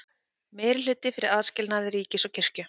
Meirihluti fyrir aðskilnaði ríkis og kirkju